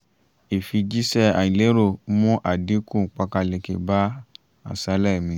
ìfijíṣẹ́ àìlérò mú àdínkù pákáleke bá àṣálẹ́ mi